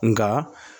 Nka